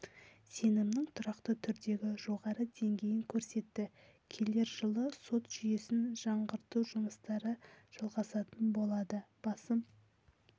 сенімнің тұрақты түрдегі жоғары деңгейін көрсетті келер жылы сот жүйесін жаңғырту жұмыстары жалғасатын болады басым